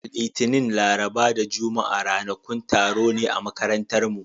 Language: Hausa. Litinin, Laraba da Juma'a ranakun taro ne a makarantarmu.